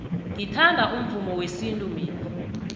ngithanda umvumo wesintu mina